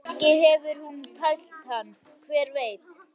Kannski hefur hún tælt hann, hver veit?